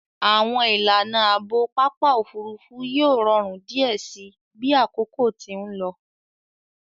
Àwọn ìlànà Ààbò Pápá òfurufú yóò rọrùn diẹ síi bí àkókò tí nlò.